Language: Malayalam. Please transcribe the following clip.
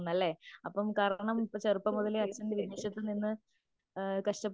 അതെ തീർച്ചയായിട്ടും